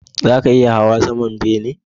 Zaka iya hawa saman bene?